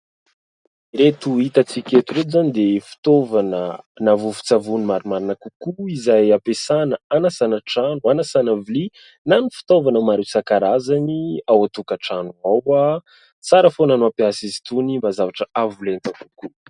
Ireto hitantsika eto ireto izany dia fitaovana na vovon-tsavony marimarina kokoa izay ampiasana hanasana trano, hanasana vilia na ny fitaovana maro isan-karazany ao an-tokantrano ao. Tsara foana mampiasa izy itony mba zavatra avo lenta kokoa.